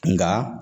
Nka